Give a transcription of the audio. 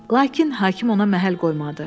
Lakin hakim ona məhəl qoymadı.